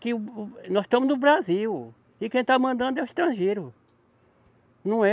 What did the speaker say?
Que o, o, nós estamos no Brasil e quem está mandando é o estrangeiro. Não é